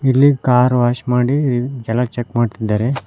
ಇಲ್ಲಿ car wash ಮಾಡಿ ಜನ ಚೆಕ್ ಮಾಡ್ತಾ ಇದ್ದಾರೆ.